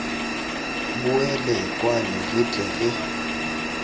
boele kwano re tle re